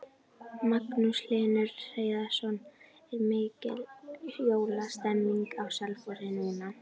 Magnús Hlynur Hreiðarsson: Er mikil jólastemning á Selfossi núna?